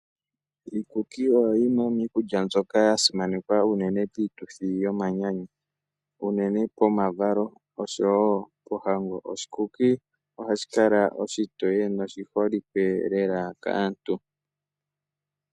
Iikuku oyo yimwe yomiikulya mbyoka ya simanekwa unene piituthi yomanyanyu unene pomavalo oshowo pohango. Oshikuki ohashi kala oshitoye noshiholike lela kaantu.